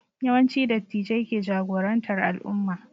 Yawanci Dattijai ke jagorantar al'umma